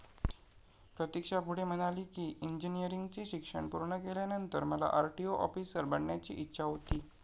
प्रतिक्षा पुढे म्हणाली कि, इंजिनिअरिंगचे शिक्षण पूर्ण केल्यानंतर मला आरटीओ ऑफिसर बनण्याची इच्छा होती.